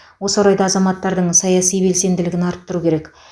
осы орайда азаматтардың саяси белсенділігін арттыру керек